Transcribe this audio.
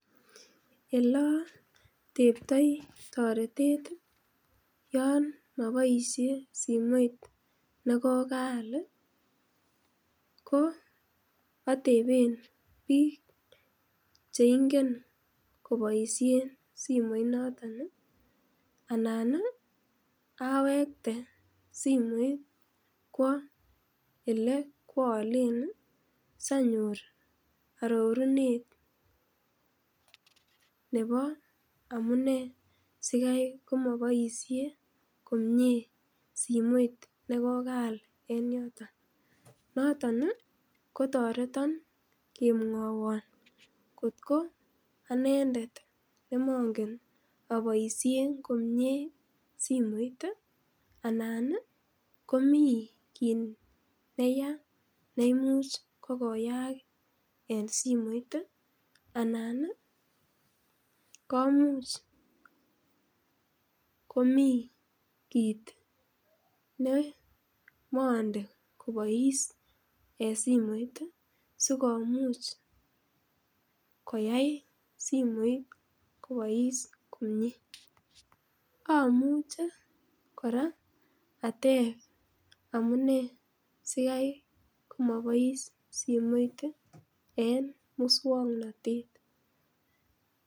Elo teptoi toretet yon maboishe simoit nekokaal ko atepen biik cheingen koboisien simoit noton anan awekten simoit kwo ele kwolen sanyor arorunet nebo amune sikai komoboishe komie simoit nekokaal eng yoton noton kotoreton kemwowo otko anendet nemangen aboishe komie simoit anan komi kiit neya neimuch kokoyaak en simoit anan komuch komi kiit ne monde kobois eng simoit sikomuch koyai simoit kobois komie amuche kora atepto amune sikai komabois simoit en muswongnotet.